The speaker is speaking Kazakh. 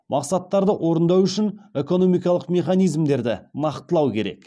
мақсаттарды орындау үшін экономикалық механизмдерді нақтылау керек